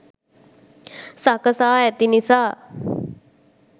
සකසා ඇති නිසා